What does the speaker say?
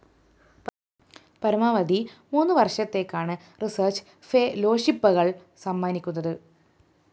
പരമാവധി മൂന്നു വര്‍ഷത്തേക്കാണ് റിസര്‍ച്ച് ഫെേലോഷിപ്പകള്‍ സമ്മാനിക്കുന്നത്